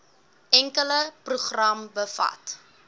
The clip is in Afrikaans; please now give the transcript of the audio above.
enkele program bevat